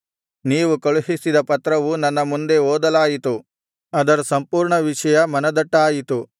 ನೀವು ಕಳುಹಿಸಿದ ಪತ್ರವು ನನ್ನ ಮುಂದೆ ಓದಲಾಯಿತು ಅದರ ಸಂಪೂರ್ಣ ವಿಷಯ ಮನದಟ್ಟಾಯಿತು